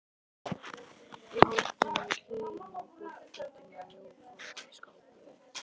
Í horninu við hliðina á borðplötunni var mjór fataskápur.